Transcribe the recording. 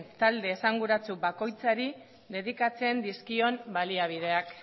talde esanguratsu bakoitzari dedikatzen dizkion baliabideak